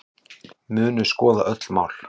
Munu skoða öll mál